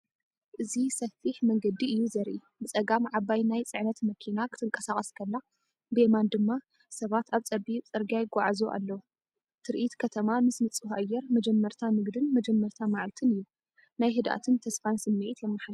እዚ ሰፊሕ መንገዲ እዩ ዘርኢ። ብጸጋም ዓባይ ናይ ጽዕነት መኪና ክትንቀሳቐስ ከላ፡ ብየማን ድማ ሰባት ኣብ ጸቢብ ጽርግያ ይጓዓዙ ኣለዉ። ትርኢት ከተማ ምስ ንጹህ ኣየር መጀመርታ ንግድን መጀመርታ መዓልትን እዩ፤ ናይ ህድኣትን ተስፋን ስምዒት የመሓላልፍ።